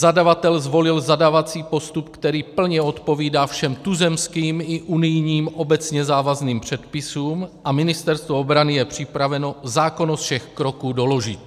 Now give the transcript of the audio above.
Zadavatel zvolil zadávací postup, který plně odpovídá všem tuzemským i unijním obecně závazným předpisům, a Ministerstvo obrany je připraveno zákonnost všech kroků doložit.